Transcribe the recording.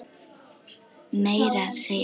Meira að segja